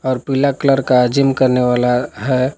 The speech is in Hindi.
पीला कलर का जीम करने वाला है।